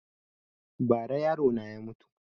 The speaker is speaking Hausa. Ba ra yaro na ya mutu